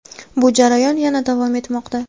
Bu jarayon yana davom etmoqda.